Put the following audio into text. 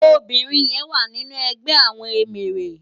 Óbirin yèn wá ninú ègbè àwòn éméré